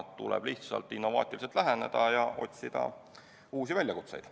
Tuleb lihtsalt innovaatiliselt läheneda ja otsida uusi väljakutseid.